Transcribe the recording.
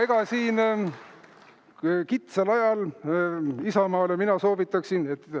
Aga sellel kitsal ajal Isamaale mina soovitaksin …